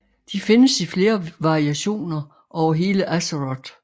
De findes i flere variationer over hele Azeroth